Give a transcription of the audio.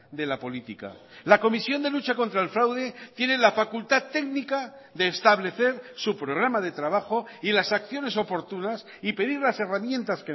de la política la comisión de lucha contra el fraude tiene la facultad técnica de establecer su programa de trabajo y las acciones oportunas y pedir las herramientas